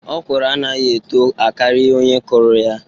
Okwụrụ anaghị etoo akari onye kuru ya.